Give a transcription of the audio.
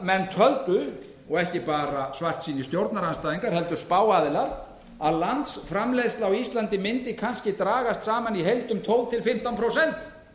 menn töldu og ekki bara svartsýnir stjórnarandstæðingar heldur spáaðilar að landsframleiðsla á íslandi mundi kannski dragast saman í heild um tólf til fimmtán prósent